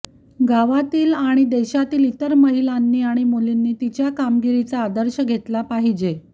गावातील आणि देशातील इतर महिलांनी आणि मुलीने तिच्या कामगिरीचा आदर्श घेतला पाहिजे